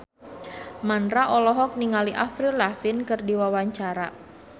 Mandra olohok ningali Avril Lavigne keur diwawancara